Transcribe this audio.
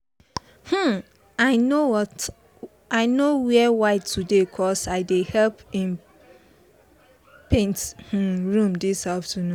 um i no wear white today cos i dey help um paint um room this afternoon